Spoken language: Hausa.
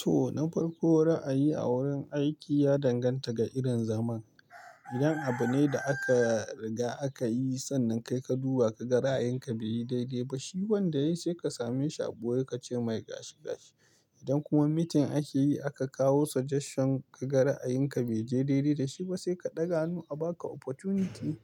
To, na farko ra'ayi a wurin aiki ya danganta ga irin zaman. Idan abu ne da aka riga aka yi, sannan kai ka duba ka ga ra'ayin ka bai yi daidai ba, shi wanda ya yi sai ka same shi a ɓoye ka ce mai gashi gashi. Idan kuma meeting ake yi aka kawo suggestion ka ga ra'ayin ka bai je daidai da shi ba, sai ka ɗaga hannu a ba ka opportunity